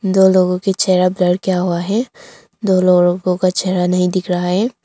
दो लोगों का चेहरा ब्लर किया हुआ है दो लोगों का चेहरा नहीं दिख रहा है।